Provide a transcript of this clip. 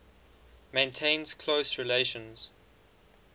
maintains close relations